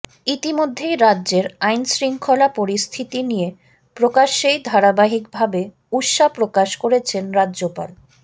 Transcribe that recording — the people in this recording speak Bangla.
ইতিমধ্যেই রাজ্যের আইনশৃঙ্খলা পরিস্থিতি নিয়ে প্রকাশ্যেই ধারাবাহিক ভাবে উষ্মা প্রকাশ করেছেন রাজ্যপাল